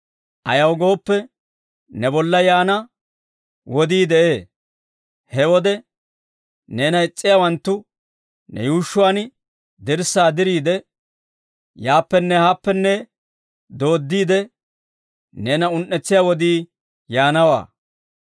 Ayaw gooppe, ne bolla yaana wodii de'ee; he wode neena is's'iyaawanttu ne yuushshuwaan dirssaa diriide, yaappenne haappenne dooddiide, neena un"etsiyaa wodii yaanawaa.